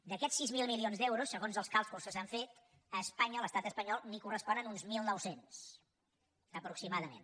d’aquests sis mil milions d’euros segons els càlculs que s’han fet a espanya a l’estat espanyol en corresponen uns mil nou cents aproximadament